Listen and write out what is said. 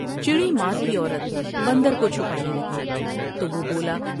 چڑی مار کی عورت بندر کو چھپانے لگی تو وہ بولا ۔